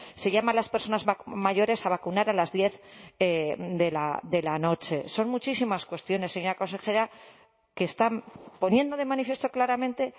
se llama a las personas mayores a vacunar a las diez de la noche son muchísimas cuestiones señora consejera que están poniendo de manifiesto claramente